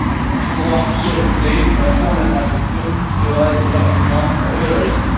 Il faudra y ajouter un fonds d'infrastructures qui devra être largement revalorisé.